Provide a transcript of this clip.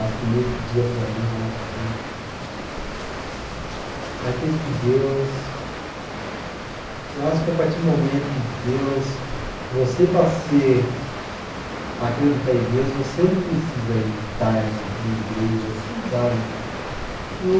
Acho que nesse dia, para mim, eu acho que. Mas por isso que Deus. Eu acho que a partir do momento que Deus, você, para ser. Para acreditar em Deus, você não precisa ir estar em igrejas, sabe? Eu